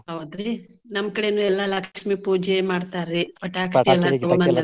ಹೌದ್ರಿ ನಮ್ಮ ಕಡೇನೂ ಎಲ್ಲಾ ಲಕ್ಷ್ಮೀ ಪೂಜೆ ಮಾಡ್ತಾರ್ರಿ ಪಟಾಕಿ .